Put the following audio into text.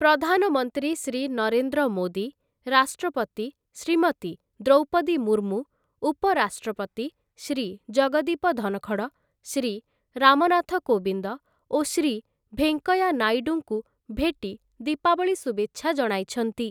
ପ୍ରଧାନମନ୍ତ୍ରୀ ଶ୍ରୀ ନରେନ୍ଦ୍ର ମୋଦୀ, ରାଷ୍ଟ୍ରପତି ଶ୍ରୀମତୀ ଦ୍ରୌପଦୀ ମୁର୍ମୁ, ଉପରାଷ୍ଟ୍ରପତି ଶ୍ରୀ ଜଗଦୀପ ଧନଖଡ, ଶ୍ରୀ ରାମନାଥ କୋବିନ୍ଦ ଓ ଶ୍ରୀ ଭେଙ୍କୟା ନାଇଡୁଙ୍କୁ ଭେଟି ଦୀପାବଳି ଶୁଭେଚ୍ଛା ଜଣାଇଛନ୍ତି ।